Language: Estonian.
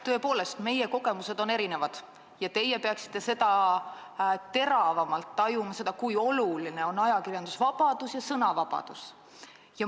Tõepoolest, meie kogemused on erinevad ja teie peaksite seda teravamalt tajuma, kui oluline on ajakirjandusvabadus ja sõnavabadus.